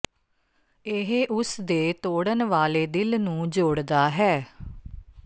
ਇਹ ਉਸ ਦੇ ਤੋੜਨ ਵਾਲੇ ਦਿਲ ਨੂੰ ਜੋੜਦਾ ਹੈ